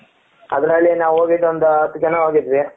ಅದರಲ್ಲಿ ನಾವು ಹೊಗಿದು ಒಂದು ಅತ್ತು ಜನ ಹೋಗಿದ್ವಿ ,